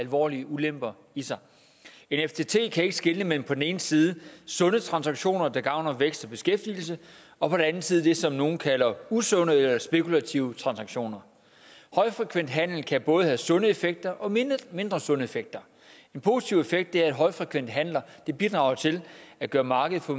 alvorlige ulemper i sig en ftt kan ikke skelne mellem på den ene side sunde transaktioner der gavner vækst og beskæftigelse og på den anden side det som nogle kalder usunde eller spekulative transaktioner højfrekvent handel kan både have sunde effekter og mindre sunde effekter en positiv effekt er at højfrekvente handler bidrager til at gøre markedet for